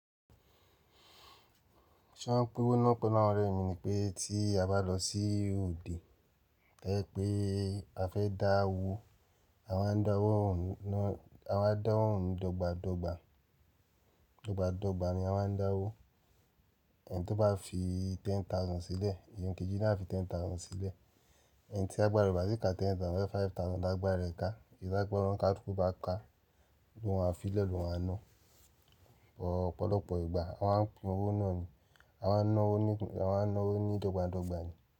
Ṣé wọ́n ń pín owó náà pọ̀ náà? Òré mi ni pé tí a bá lọ sí òde, bẹ́ẹ̀ pé a fẹ́ dá owó, àwọn á dáwó òun dọ́gba dọ́gba. Dọ́gba dọ́gba ni àwọn á dá owó. Ẹni tó bá fi ten thousand sílẹ̀, èèyàn kejì náà fi ten thousand sílẹ̀. Ẹni tí agbàra re o bá ti ka ten thousand, bóyá five thousand lágbà rẹ̀ ká, èyí tí agbára kálúku bá ká, lóun á fi lẹ́ loun á ná. Ọ̀pọ̀lọpọ̀ ìgbà àwọn á pín owó náà ni, àwọn á ná owó ní, àwọn á ná owó ní dọ́gba dọ́gba ni.